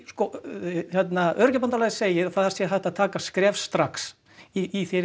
segir að sé hægt að taka skref strax í